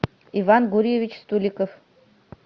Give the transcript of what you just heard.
иван гурьевич стуликов